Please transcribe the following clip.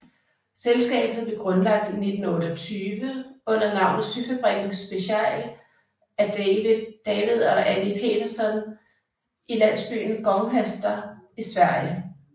Selskabet blev grundlagt i 1928 under navnet Syfabriken Special af David og Annie Petterson i landsbyen Gånghester i Sverige